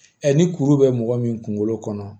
ni kuru bɛ mɔgɔ min kunkolo kɔnɔ